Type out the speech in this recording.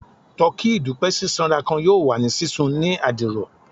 Tọki idupẹ sisanra kan yoo wa ni sisun ni adiro